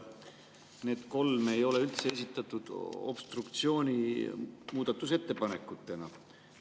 Need kolm ei ole üldse esitatud obstruktsiooni muudatusettepanekutena.